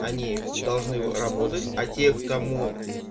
они должны работать а те к кому